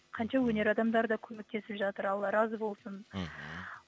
қанша өнер адамдары да көмектесіп жатыр алла разы болсын мхм